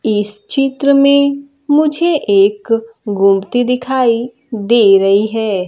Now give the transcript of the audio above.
इस चित्र में मुझे एक गुमटी दिखाई दे रही है।